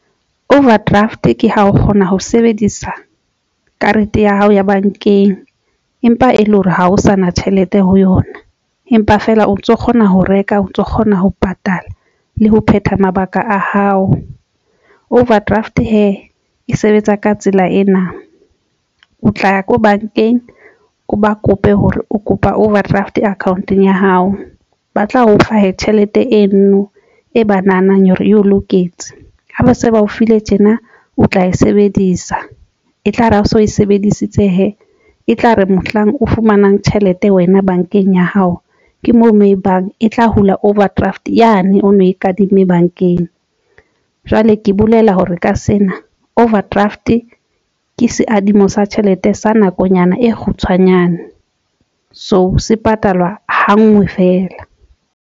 Overdraft ke ha o kgona ho sebedisa karete ya hao ya bankeng empa e le hore ha o sa na tjhelete ho yona, empa feela o ntso kgona ho reka o ntso kgona ho patala le ho phetha mabaka a hao. Overdraft hee e sebetsa ka tsela ena, o tla ya ko bankeng o ba kope hore o kopa overdraft account-ong ya hao ba tla o fa tjhelete eno e ba nahanang hore e o loketse ho ba se ba. O fihle tjena o tla e sebedisa e tlare ha so e sebedisitse hee e tla re mohlang o fumanang tjhelete wena bankeng ya hao. Ke moo mo ebang e tla hula overdraft yane o no e kadimme bankeng. Jwale ke bolela hore ka sena overdraft ke seadimo sa tjhelete sa nakonyana e kgutshwanyane. So se patalwa hangwe feela.